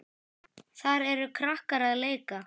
Þar eru krakkar að leika.